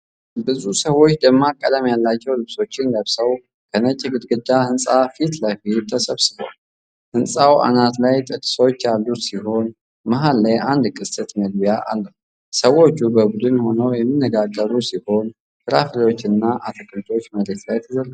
ብዙ ሰዎች ደማቅ ቀለም ያላቸው ልብሶችን ለብሰው ከነጭ ግድግዳ ሕንፃ ፊት ለፊት ተሰብስበዋል። ሕንፃው አናት ላይ ጥርሶች ያሉት ሲሆን፣ መሃል ላይ አንድ ቅስት መግቢያ አለው። ሰዎች በቡድን ሆነው የሚነጋገሩ ሲሆን፣ ፍራፍሬዎችና አትክልቶች መሬት ላይ ተዘርግተዋል።